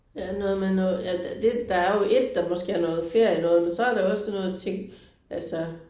Ja noget med noget ja det der er jo ét der måske er noget ferienoget men så er der også sådan noget ting altså